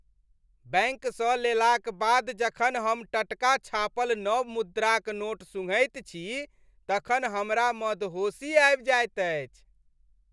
बैंकसँ लेलाक बाद जखन हम टटका छापल नव मुद्राक नोट सुँघैत छी तखन हमरा मदहोशी आबि जाएत अछि।